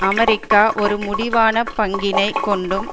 America ஒரு முடிவான பங்கினைக் கொண்டும்